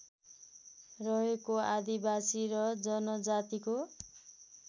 रहेको आदिवासी र जनजातिको